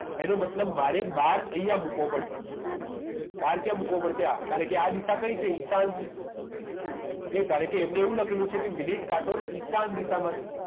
એનો મતલબ મારે બાર અહીંયા મૂકવો પડશે બાર ક્યાં મૂકવો પડશે આ કારણ કે આ દિશા કઈ છે ઈશાન છે okay કારણ કે એમને એવું લખેલું છે કે મિનિટ કાંટો ઈશાન દિશામાં છે